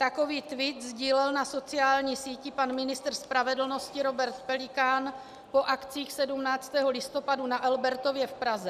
Takový tweet sdílel na sociální síti pan ministr spravedlnosti Robert Pelikán po akcích 17. listopadu na Albertově v Praze.